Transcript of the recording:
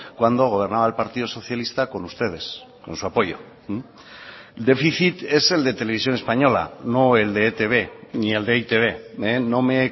cuando gobernaba el partido socialista con ustedes con su apoyo déficit es el de televisión española no el de etb ni el de e i te be no me